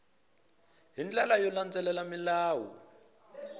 hi ndlela yo landzelela milawu